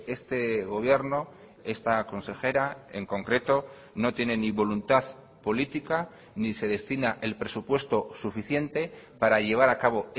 este gobierno esta consejera en concreto no tiene ni voluntad política ni se destina el presupuesto suficiente para llevar a cabo